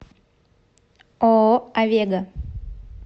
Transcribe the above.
ооо авега